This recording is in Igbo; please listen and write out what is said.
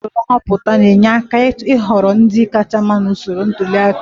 Usoro nhọpụta na-enyere aka ịhọrọ ndị kacha mma maka ntuli aka